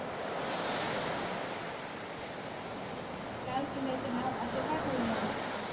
लाल किल्ल्याचे नाव असे का ठेवले आहे